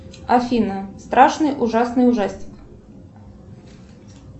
афина страшный ужасный ужастик